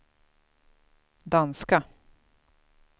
danska